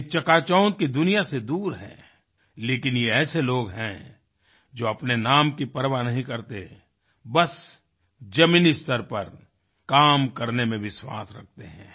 ये चकाचौंध की दुनिया से दूर हैं लेकिन ये ऐसे लोग हैं जो अपने नाम की परवाह नहीं करते बस जमीनी स्तर पर काम करने में विश्वास रखते हैं